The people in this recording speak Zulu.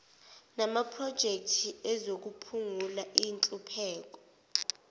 namaprojekthi ezokuphungula inhlupheko